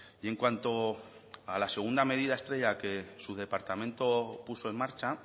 y en cuanto a la segunda medida estrella que su departamento puso en marcha